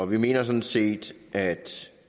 vi mener sådan set at